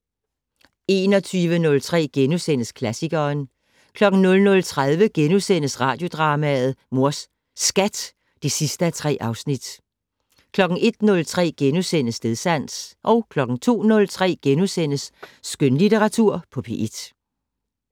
21:03: Radioklassikeren * 00:30: Radiodrama: Mors Skat (3:3)* 01:03: Stedsans * 02:03: Skønlitteratur på P1 *